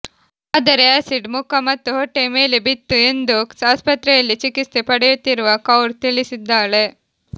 ಆದರೆ ಅ್ಯಸಿಡ್ ಮುಖ ಮತ್ತು ಹೊಟ್ಟೆಯ ಮೇಲೆ ಬಿತ್ತು ಎಂದು ಆಸ್ಪತ್ರೆಯಲ್ಲಿ ಚಿಕಿತ್ಸೆ ಪಡೆಯುತ್ತಿರುವ ಕೌರ್ ತಿಳಿಸಿದ್ದಾಳೆ